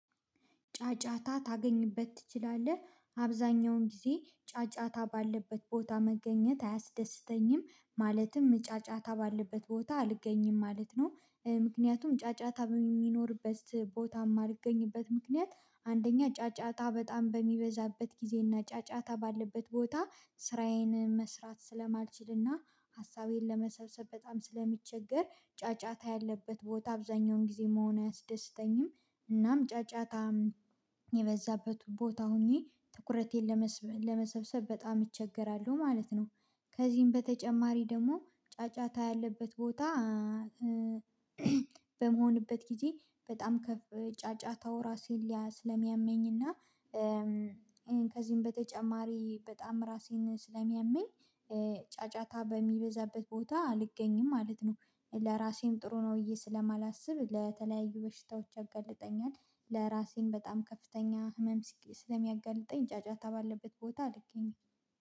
ጫጫታ ታገኝበት ትችላለህ አብዛኛውን ጊዜ ጫጫታ ባለበት ቦታ መገኘት አያስደስተኝም ማለትም ጫጫታ ባለበት ቦታ አልገኝም ማለት ነው። ምክንያቱም ጫጫታ በሚኖርበት ቦታም ማልገኝበት ምክንያት አንደኛ ጫጫታ በጣም በሚበዛበት ጊዜና ጫጫታ ባለበት ቦታ ስራዬን መስራት ስለማልችልና ሀሳቤን ለመሰብሰብ በጣም ስለሚምቸገር ጫጫታ ያለበት ቦታ አብዛኛውን ጊዜ መሆን አያስደስተኝም። እናም ጫጫታ የበዛበት ቦታ ሆኜ ትኩረቴን ለመሰብሰብ በጣም እቸገራለሁ ማለት ነው። ከዚህም በተጨማሪ ደግሞ ጫጫታ ያለበት ቦታ። በምሆንበት ጊዜ በጣም ጫጫታው ራሴን ስለሚያመኝና ከዚህም በተጨማሪ በጣም ራሴን ስለሚያመኝ ጫጫታ በሚበዛበት ቦታ አልገኝም ማለት ነው። ለራሴም ጥሩ ነው ብዬ ስለማላስብ ለተለያዩ በሽታዎች ያጋልጠኛል። ለራሴም በጣም ከፍተኛ ህመም ስለሚያጋልጠኝ ጫጫታ ባለበት ቦታ አልገኝም።